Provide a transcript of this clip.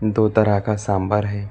दो तरह का सांभर है।